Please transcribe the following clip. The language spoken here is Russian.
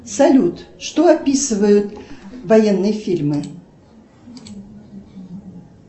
салют что описывают военные фильмы